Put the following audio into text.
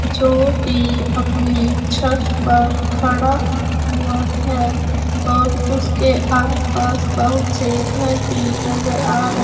जोकि अपनी छत पर खड़ा हुआ है और उसके आस पास बहुत से घर भी नजर आ र--